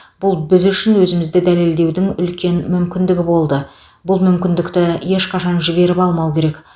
бұл біз үшін өзімізді дәлелдеудің үлкен мүмкіндігі болды бұл мүмкіндікті ешқашан жіберіп алмау керек